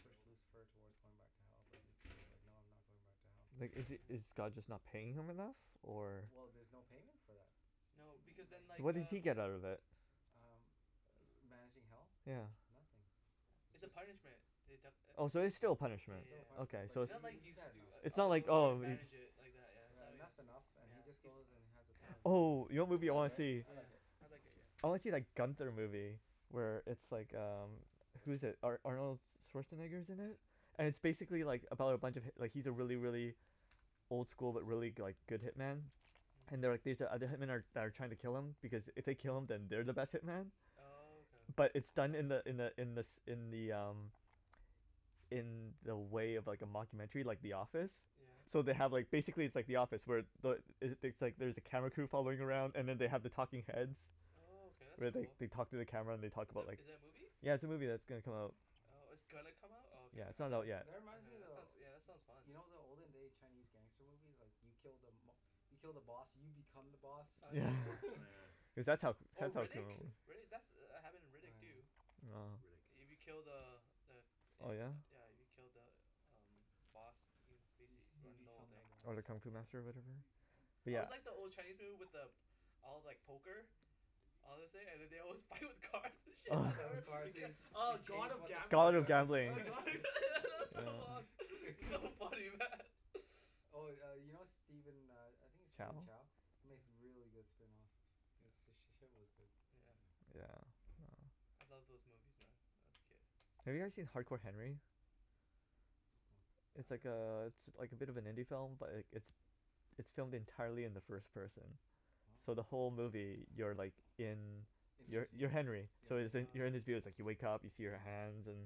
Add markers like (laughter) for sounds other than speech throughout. push Lucifer towards going back to hell but Lucifer is like no I'm not going back to hell Like is is yeah God just not paying him enough? Or? Well there's no payment for that No because then (noise) So like what does uh he get out of it? um ma- managing hell? yeah Nothing yeah it's a it's punishment they def- it Oh so it it's still a yeah yeah punishment, yeah yeah yeah okay but so It's it's he not he like he's he's had doi- enough It's uh not I'll like go there and oh he- manage it like that yeah yeah and it that's enough and yeah he just goes and has the yeah he's oh yeah time of yeah his life. Oh you know what It's movie I good wanna right see? yeah, I yeah like it I like it yeah I wanna see that Gunther movie Where it's like um Who's it Ar- Arnold Oh my Schwarzenegger's in it goodness (laughs) And it's basically like about a bunch of hip- like he's a really really old school but really like go- good hitman Hmm and they're like these other hitman that that are like trying to kill him because it they kill him then they're the best hitman Oh okay But it's done in the (inaudible) in the in the in the um In the way of like a mocumentary like The Office yeah So they have like basically it's like The Office where the is it things like there's a camera crew following around and they have the talking heads Oh okay that's Where they cool they talk to the camera and they talk Is about like is it a movie? Yeah it's a movie that's gonna come out Oh it's gonna come out oh Yeah okay it's I not out though, tha- yet that reminds okay me that sounds of- that sounds fun you know the olden day Chinese gangster movie's like you kill the mob- you kill the boss and you become the boss oh yeah Yeah Oh yeah yeah yeah (laughs) cuz that's how Oh that's how Riddick? crimi- (laughs) Riddick that's happened in Riddick oh yeah too No Riddick. You be killed the uh the uh Oh yeah? yeah you killed the um boss you hmm uh-huh bas- you run the whole become the thing Oh boss the kung fu yeah master of whatever? yeah But I yeah always like the old Chinese people with the all like poker all this thing and then they (laughs) (inaudible) with cars and Oh (laughs) (laughs) shit, it gets (inaudible) oh God of Gambles (inaudible) yeah (inaudible) that (laughs) (laughs) that's so (inaudible) lost, so funny man (laughs) (laughs) oh yeah you know Steven uh I think its Chow Steven Chow makes really good spring rolls h- he's sh- shit was good yeah Yeah oh I love those movies man when I was a kid Have you guys seen Hard Core Henry? Mm uh It's I like don't know uh it's like a bit of an indie film but like it's it's filmed entirely in the first person so the oh whole Oh movie you're like in in his you're you're view Henry yeah so yo- you're in um his oh (inaudible) you wake up see your hands and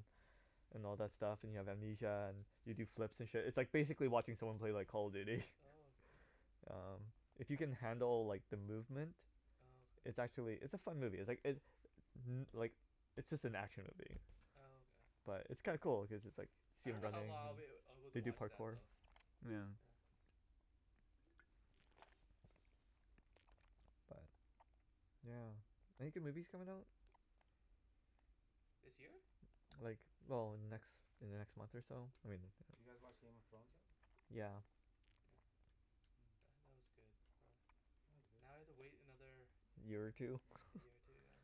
and all that stuff and you have amnesia and you do flips and shit it's like basically watching someone play like Call of Duty oh okay Umm If you can handle like the movement oh okay it's actually it's a fun movie it's like it uh-huh like it's just an action movie oh okay but it's kinda cool like cause it's just like I you see him don't know how running lo- long I'd be able to they do watch that parkour though (noise) yeah yeah (noise) but yeah Any good movies coming out? (noise) this year? Like well in the next in the next month or so I mean Did you guys watch Game of Thrones yet? yeah yeah yeah that was good but (noise) Now I have to wait another year or two year or (laughs) two yeah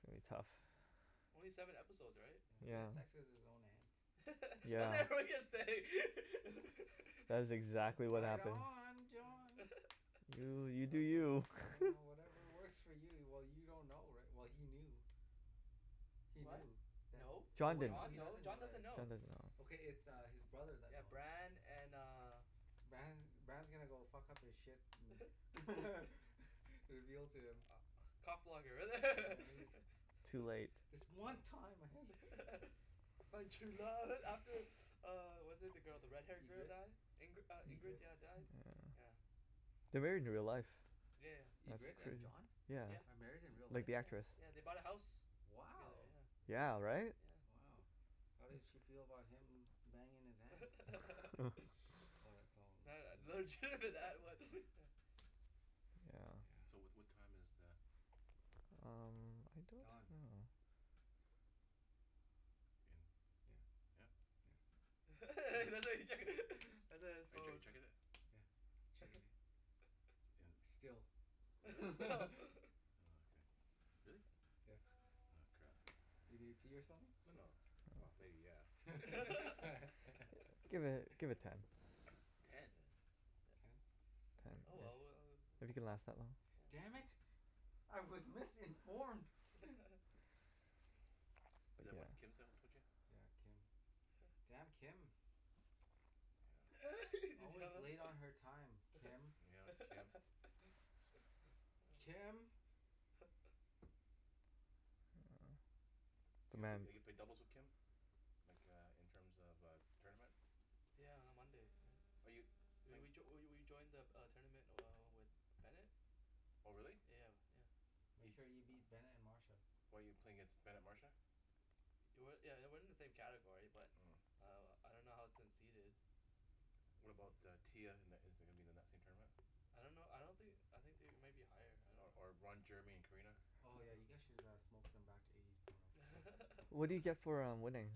It's gonna be tough only seven episode right? yeah he had yeah sex with his own aunt (laughs) I was yeah like what are you gonna say (laughs) That is exactly what right happened on yeah (laughs) John that Oh you do was fun you yeah (laughs) whatever works for you well you don't know righ- well he knew he what? knew tha- no, oh John wait didn't John he no doesn't know John that doesn't John yet doesn't know know Okay it's his brother that yeah knows Bran and uh Bran Bran is gonna go fuck up his shit (laughs) (laughs) you're guiltier ah cock yeah blocker he Too late (laughs) This one time I (laughs) (laughs) I found true love (laughs) after (noise) (noise) uh was it the girl the red hair yeah girl Ingrid die Ingri- Ingrid Ingrid yeah died (noise) yeah They're married in real life Yeah yeah That's Ingrid and crazy, John yeah yeah are married in real Like life? the yeah actress yeah they bought a house together wow yeah Yeah right yeah wow how did she feel about him banging his aunt? (laughs) (laughs) (inaudible) (inaudible) that was (noise) (laughs) yeah so yeah what what time is the (noise) hmm I don't Don know In, yeah yeah yeah Hmm (laughs) (laughs) (inaudible) his Are you chec- phone checking it? yeah (inaudible) (noise) still There (laughs) is stop (laughs) Oh okay, really? yeah Oh crap you need to pee or something? No no well No maybe (laughs) yeah yeah (laughs) (laughs) Give it (noise) give it ten Ten? yeah you can Ten oh okay yeah, well we if you uh can last that long damn yeah Mm it I was missing (inaudible) (laughs) (laughs) (noise) Is that what Kim yeah (inaudible) yeah Kim huh damn Kim yeah (laughs) did you always know late on that? her time Kim yeah Kim (laughs) oh Kim (laughs) (noise) So you eve- Demand ever played doubles with Kim? Like uh in terms of uh tournament yeah on Monday right Are you, we playin- we joi- we we we joined the the uh tournament uh with Bennet Oh really yeah yeah Make bef- sure you beat Bennet and Marsha why you playing against Bennet Marsha It wa- yeah it wasn't in the same category but uh I don't know how its seated What about uh Tia in in is it gonna be in the same tournament? I don't know I don't thin- I think they might be higher I Or don't or Ron know Jeremy and Karina Oh yeah you oh guys should uh smoke them back to eighties porno. What No do you one get (laughs) for uh winning?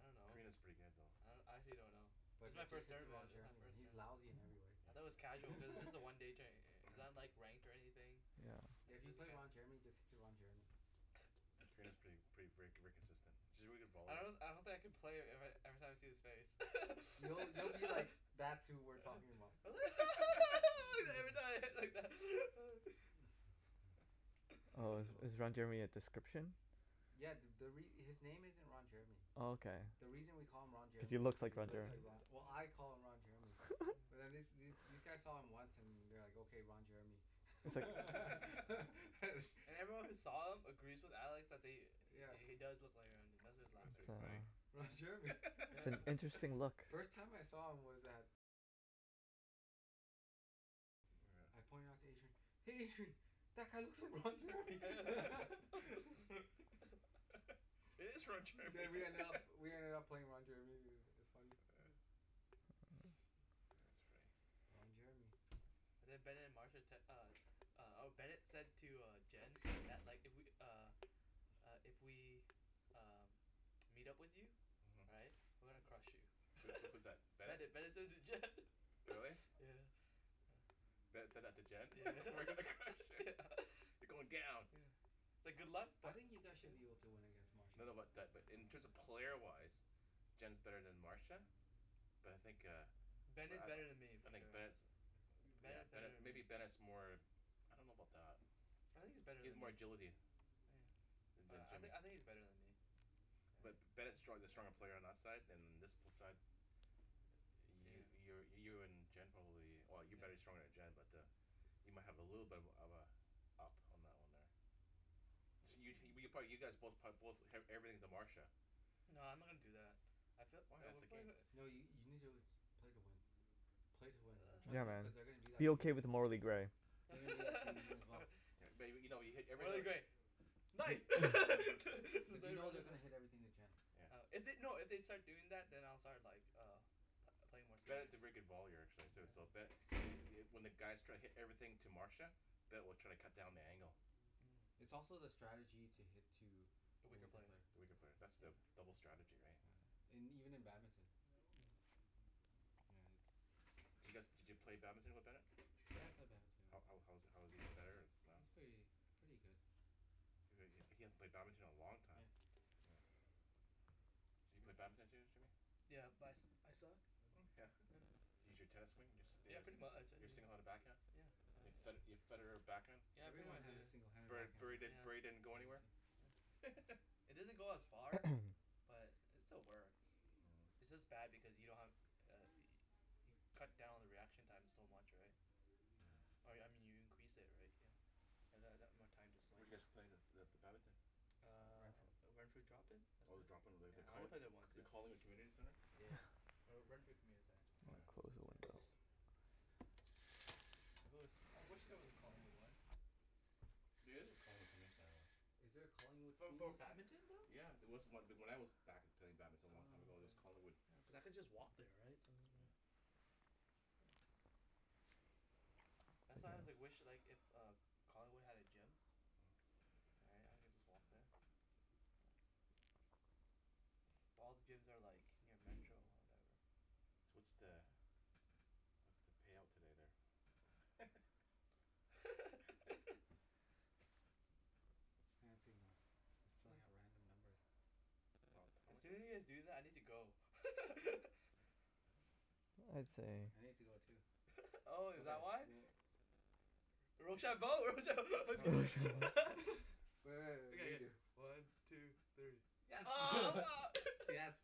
I don't know Karina's pretty good though I do- I actually don' know This But is my ju- just first hit to tournament Ron this is my Jeremy first he's tournament lousy in every I though it was (laughs) casual cuz this way (laughs) a one day tou- tou- it's not ranked or anything yeah yeah Like if you there's a play Ron Jeremy just (inaudible) hit to Ron Jeremy (noise) Karina's prett- (laughs) pretty ver- very consistent she's a very good I volleyball pla- don- I don't think I can play ever- every time I see his face You- you'll be like (laughs) (laughs) that's who we're talking about uh (laughs) (laughs) (laughs) (inaudible) (laughs) (laughs) yeah Oh is you will (laughs) is Ron Jeremy a description? yeah th- the re- his name isn't Ron Jeremy Oh okay the reason we call him Ron if you Jeremy is look cuz like he Ron looks Jeremy like Ro- well I (laughs) call him Ron Jeremy yeah But wh- these these guys saw him once and they're like okay Ron Jeremy It's like (laughs) (laughs) (laughs) harsh And everyone who saw him agrees with Alex that they yeah he he does look like Ron Je- that's why he was That's laughing pretty funny Oh Ron yeah Jeremy It's an interesting look (laughs) (laughs) First time I saw him was at I pointed it out to Adrian "hey Adrian" That guy looks like Ron Jeremy (laughs) (laughs) (laughs) But we ended up (laughs) we ended up playing Ron Jeremy i- it was funny uh (noise) yeah that's funny Ron Jeremy yeah and then Bennet and Marsha tec- uh uh or Bennet said to uh Jen that like if we uh uh if we um meet up with you right uh-huh we're gonna crush you so was that was that (laughs) Bennet? Bennet Bennet said it to Jen Really? (laughs) yeah yeah Bennet said that to Jen yeah (laughs) we're gonna crush (laughs) yeah it, (laughs) you're going down yeah It's like good luck i- I but think you yeah guys should be able to win against No Marsha no but that in terms of player wise Jen's better then Marsha But I think uh But Bennet's better then me eh I for think sure Bennet's Ben yeah is better Bennet then maybe me Bennet's more I don't know about that I think he's better He has then more me, oh agility yeah Then then I I Jimmy think he's better then me But yeah Bennet's strong- the stronger player on our side and uh this side You you yeah you're you're in Jen probably well you're better yeah stronger then Jen but uh You might have a little bit of uh of uh up on that one there this you you probably you guys both prob- both eve- everything to Marsha No I'm not gonna do that I fee- Why uh that's we the game pla- No you you need to play to win play to win man trust Yeah me man, (noise) cuz they gonna do that be to you okay with the morally gray (laughs) (inaudible) May- maybe you know you hit morally everything gray nice (laughs) to But you know they're to gonna hit (inaudible) everything to Jen yeah If they- no if they'd start doing that then I'll start like uh pl- playing more serious Bennet's a very good volleyer actually so so yeah but it it when the guys try to hit everything to Marsha Ben will try to cut down the angle Hmm But it's also the strategy to hit to the the weaker weaker player player the weaker player that's the yeah double strategy right yeah yeah and even in badminton Mm Does you guys did you play badminton with Bennet? yeah I play badminton How how how was he how was he better or not He's pretty pretty good He he hasn't played badminton in a long time yeah Hmm Do you play badminton Jim- Jimmy Yeah but I su- I suck yeah yeah Can you use your tennis swing yeah pretty much I your single handed back hand uh yeah Your Fed- I Your Federer back hand yeah pretty Everyone much had a yeah singled handed Bur Bur backhand Burry Burry yeah didn't go anywhere yeah (laughs) it doesn't go as far (noise) but it still works Hum its just bad because you don't have uh yo- you cut down the reaction time so much right yeah Or I me- mean you increase it right you you have that that more time to Where swing did you guys play the the badminton Ren- Uh Renfrew drop-in that's Oh the it drop in the yeah the I only Colling- played there once the yeah Collingwood Community Centre yeah yeah (noise) or Renfrew Community I'm Oh gonna yeah close the Centre window If there wa- I wish there was a Collingwood one There is a Collingwood Community Center one Is there a Collingwood For bad- Community Centre? badminton though? Yeah there was on- when I was back play- playing badminton a long time ago Oh there was Collingwood okay yeah cause I could just walk there right so then there yeah yeah that's how why I (noise) wish like if uh Collingwood had a gym Hmm yeah I could just walk there yeah well all the gyms are like near metro or whatever Wa- what's the what's the payout today there? (laughs) (laughs) (inaudible) I'm just throwing hmm out random numbers Not, how As much the soon as you guys do that I need to go (laughs) I'd say I need to go too (laughs) oh is okay that why? we'll Rochambeau, rochambeau. Oh (laughs) rochambeau (laughs) Re- re- okay re- yeah yeah redo one two three oh (laughs) mar yes (laughs)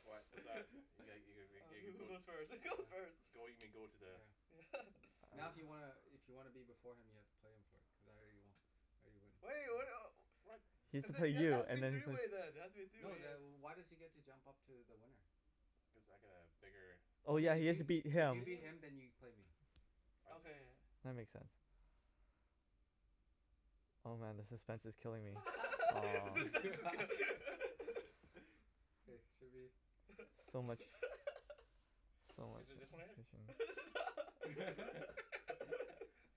What what's that? you ga (laughs) you oh ga ga who who go goes first (laughs) who goes first yeah go you mean go to the yeah yeah (laughs) to the Now if you wanna i- if you wanna be before him you have to play him for it because I already wo- I already win (inaudible) (inaudible) He has cuz to play there then it you has to and be then three play way then it has to be a three No way then wh- yeah why does he get to jump up to the winner cuz I got a bigger Oh yeah okay if he has to beat if you him beat him then you can play me I okay go- yeah yeah That makes sense Oh man the suspense is killing me (laughs) ah the suspense (laughs) (laughs) okay should be So much So much Is (laughs) it just one in there (laughs) (inaudible) it's a not (laughs)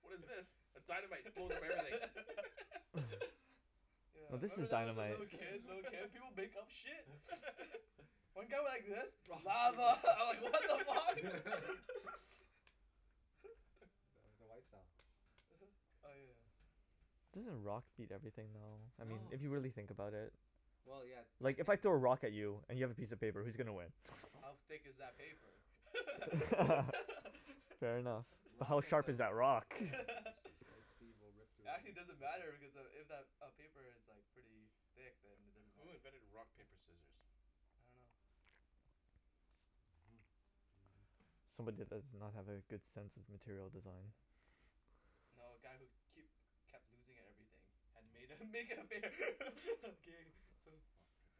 What is this, a dynamite it blows up everything (laughs) (laughs) (laughs) No yeah this is remember that when I was a dynamite little kid little kid (laughs) people make up shit (laughs) one got like this lava (laughs) I was like what the fuck (laughs) (laughs) (laughs) (laughs) no th- the white style uh-huh oh yeah Doesn't rock beat everything though I I mean No if you don't really think know about it well yeah like if I yeah technically throw a rock at you and you have a piece of paper who's gonna win? How thick is that paper (laughs) (laughs) fair enough How rock hit sharp the is ro- that rock? yeah rock, paper, the (laughs) right scissor speed will rip through it, Actually because doesn't matter because uh if if that paper is pretty thick then it doesn't Who matter invented rock yeah paper scissors? I don't know (noise) uh-huh (noise) I don't know Somebody did this does not have a good sense of material design yeah No a guy who keep kep- kept losing at everything had to made uh Oh make it fair (laughs) game so (inaudible)